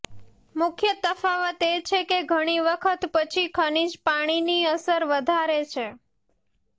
મુખ્ય તફાવત એ છે કે ઘણી વખત પછી ખનિજ પાણીની અસર વધારે છે